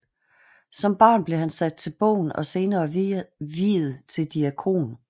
Som barn blev han sat til bogen og senere viet til diakon